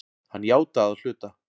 Hann játaði að hluta